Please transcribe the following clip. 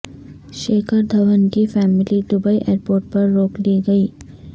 شیکھر دھون کی family Dubai airport پر روک لی گئی